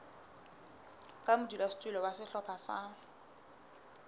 ka modulasetulo wa sehlopha sa